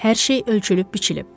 Hər şey ölçülüb biçilib.